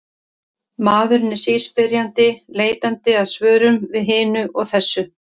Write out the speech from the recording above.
Maðurinn er síspyrjandi, leitandi að svörum við hinu og þessu.